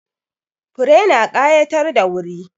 Fure na ƙayatar da wuri.